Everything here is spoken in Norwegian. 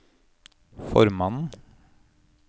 formannen